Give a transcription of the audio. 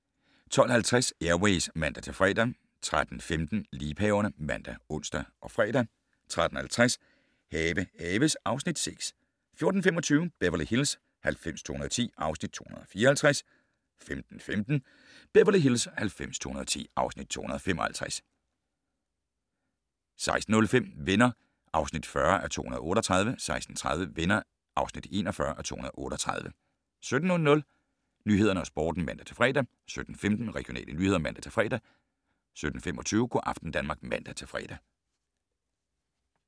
12:50: Air Ways (man-fre) 13:15: Liebhaverne ( man, ons, fre) 13:50: Have haves (Afs. 6) 14:25: Beverly Hills 90210 (Afs. 254) 15:15: Beverly Hills 90210 (Afs. 255) 16:05: Venner (40:238) 16:30: Venner (41:238) 17:00: Nyhederne og Sporten (man-fre) 17:15: Regionale nyheder (man-fre) 17:25: Go' aften Danmark (man-fre)